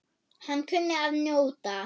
Hann kunni að njóta.